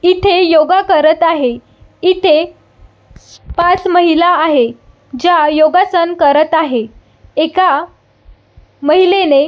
इथे योगा करत आहे इथे पाच महिला आहे ज्या योगासन करत आहे एका महिलेने--